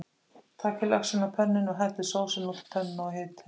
Takið laxinn af pönnunni og hellið sósunni út á pönnuna og hitið.